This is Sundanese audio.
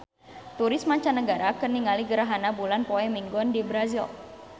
Turis mancanagara keur ningali gerhana bulan poe Minggon di Brazil